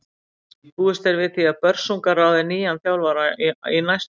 Búist er við því að Börsungar ráði nýjan þjálfara í næstu viku.